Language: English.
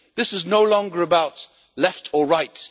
This is no longer about left or right.